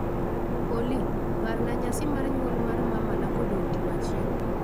Olly, parna nyasi mar nyuol mar mamanakodong' juma achiel